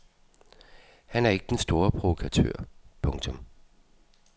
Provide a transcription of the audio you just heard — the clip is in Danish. Han er ikke den store provokatør. punktum